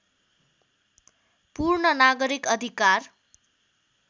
पूर्ण नागरिक अधिकार